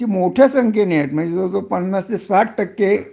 मोठ्या संखेने आहे जवळ जवळ पन्नास ते साथ टक्के